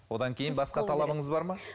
одан кейін басқа талабыңыз бар ма